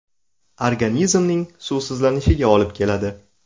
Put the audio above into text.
Organizmning suvsizlanishiga olib keladi.